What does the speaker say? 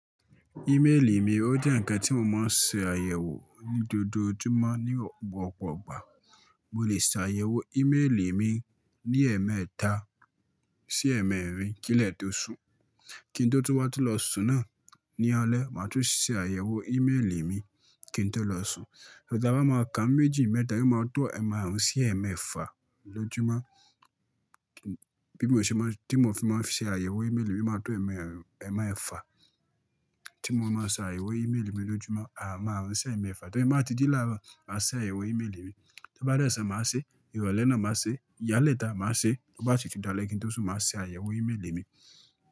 Ímélì mi ó jẹ́ ǹkan tí mo máa ń ṣe àyẹ̀wò ní gbogbo ojúmọ́ ní ọ̀pọ̀ ọ̀gbà. Mo lè ṣe àyẹ̀wò ímélì mi ní ẹ̀ẹ̀mẹ́ta sí ẹ̀ẹ̀mẹ́rin kí lẹ́tí ó sùn. Kí n tó tún wá tó lọ sùn náà, ní alẹ́ máa tún ṣe àyẹ̀wò ímélì mi kí n tó lọ sùn. Àbámẹ́ẹ̀kà méjì mẹ́ta ni mo máa tó ẹ̀ẹ̀maàrún sí ẹ̀ẹ̀mẹ́fa lójúmọ́ bí mo ṣe máa, tí mo fi máa ṣe àyẹ̀wò ímélì mi, mo máa tó ẹ̀ẹ̀maàrún, ẹ̀ẹ̀mẹ́fa tí mo máa ń ṣe àyẹ̀wò ímélì mi lójúmọ́, à máarún sí ẹ̀ẹ̀mẹ́fa. Torí mo máa ti jí lára wa máa ṣe àyẹ̀wò ímélì mi. Ti bá dẹ́ sùn máa ṣe, ìwọlẹ́ na máa ṣe, ìyá lẹ́ta máa ṣe, bó bá ti tún de lẹ́ kí n tó sùn máa ṣe àyẹ̀wò ímélì mi.